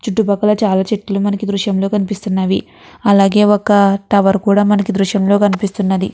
చుట్టు పక్కల చాలా చెట్లు మనకి ఈ దృశ్యం లో కనిపిస్తున్నవి. అలాగే ఒక టవర్ కూడా మనకి ఈ దృశ్యం లో కనిపిస్తునది.